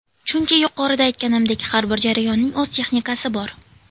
Chunki yuqorida aytganimdek, har bir jarayonning o‘z texnikasi bor.